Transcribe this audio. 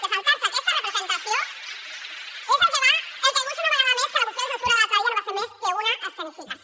que saltar se aquesta representació és el que demostra una vegada més que la moció de censura de l’altre dia no va ser més que una escenificació